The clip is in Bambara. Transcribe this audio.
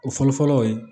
O fɔlɔfɔlɔ o ye